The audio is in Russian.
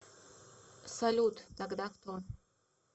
салют тогда кто